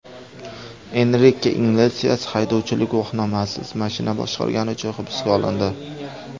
Enrike Iglesias haydovchilik guvohnomasisiz mashina boshqargani uchun hibsga olindi.